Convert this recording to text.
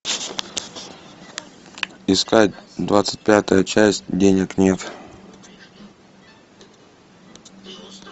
искать двадцать пятая часть денег нет